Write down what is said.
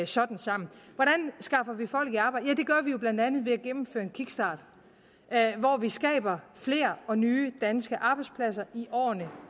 sådan sammen hvordan skaffer vi folk i arbejde det gør vi jo blandt andet ved at gennemføre en kickstart hvor vi skaber flere og nye danske arbejdspladser i årene